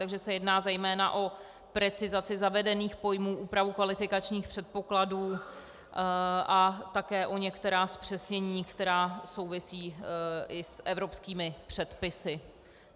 Takže se jedná zejména o precizaci zavedených pojmů, úpravu kvalifikačních předpokladů a také o některá zpřesnění, která souvisí i s evropskými předpisy.